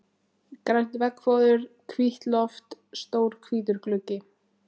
Grænt veggfóður, hvítt loft, stór hvítur gluggi.